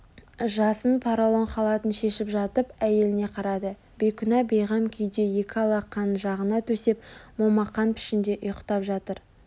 жасын паралон халатын шешіп жатып әйеліне қарады бейкүнә бейғам күйде екі алақанын жағына төсеп момақан пішінде ұйықтап жатыр